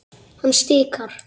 Hann stikar.